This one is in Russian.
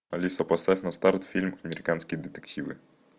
алиса поставь на старт фильм американские детективы